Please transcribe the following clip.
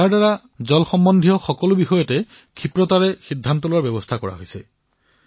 ইয়াৰ দ্বাৰা পানী সম্বন্ধীয় সকলো বিষয়ত দ্ৰুত সিদ্ধান্ত লব পৰা হব